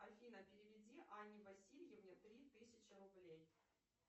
афина переведи анне васильевне три тысячи рублей